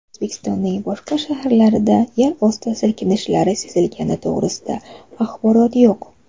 O‘zbekistonning boshqa shaharlarida yerosti silkinishlari sezilgani to‘g‘risida axborot yo‘q.